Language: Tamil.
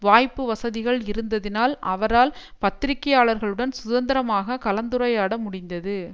வாய்ப்பு வசதிகள் இருந்ததினால் அவரால் பத்திரிகையாளர்களுடன் சுதந்திரமாக கலந்துரையாட முடிந்தது